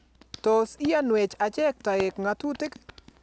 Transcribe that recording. Tos iyanwech achek toek ng'atutik